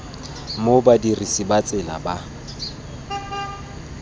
mo badirisi ba tsela ba